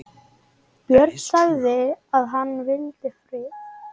Björn sagði að hann vildi frið.